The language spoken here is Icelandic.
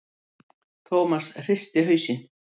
Thomas hristi hausinn.